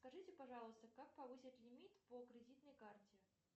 скажите пожалуйста как повысить лимит по кредитной карте